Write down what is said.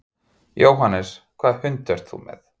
Jóhannes: Hvaða hund ert þú með?